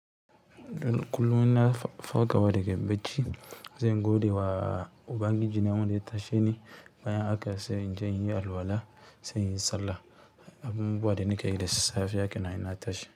Don kullum ina farkawa daga bacci, zan gode wa ubangiji na wanda ya tashe ni bayan haka sai in je in yi alwala, sai in yi sallah. Abubuwa da nakeyi da safiya kenan in na tashi.